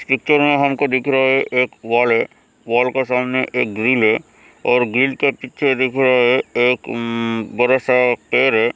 हमको दिख रहा है एक वॉल है वॉल के सामने एक ग्रील है और ग्रील के पीछे दिख रहा है एक उम्म बड़ा सा पेड़ है --